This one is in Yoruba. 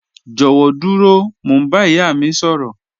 Jọwọ duro, Mo n ba iya mi sọrọ